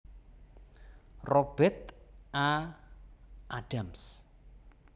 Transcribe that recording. Robert A Adams